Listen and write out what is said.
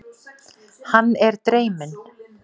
Hann er dreyminn.